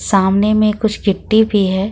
सामने में कुछ गिट्टी भी है।